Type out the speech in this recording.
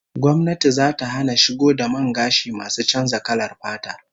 Gwamnati zata hana shigo da man gashi masu canza kalar fata